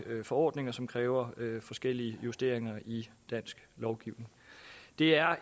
forordninger som kræver forskellige justeringer i dansk lovgivning det er